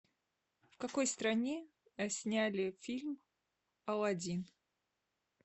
в какой стране сняли фильм аладдин